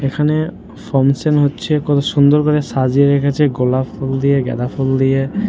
এখানে ফংশন হচ্ছে কত সুন্দর করে সাজিয়ে রেখেছে গোলাপ ফুল দিয়ে গাঁদা ফুল দিয়ে।